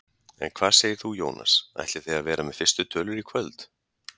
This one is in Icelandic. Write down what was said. En hvað segir þú Jónas, ætlið þið að vera með fyrstu tölur í kvöld?